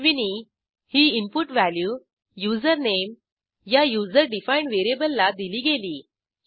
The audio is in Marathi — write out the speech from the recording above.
ashwiniही इनपुट व्हॅल्यू usernameया युजर डिफाईंड व्हेरिएबलला दिली गेली